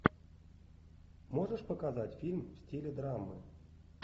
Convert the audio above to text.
можешь показать фильм в стиле драмы